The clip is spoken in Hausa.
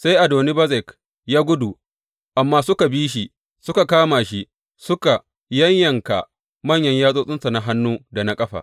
Sai Adoni Bezek ya gudu, amma suka bi shi suka kama shi, suka yayyanka manyan yatsotsinsa na hannu da na ƙafa.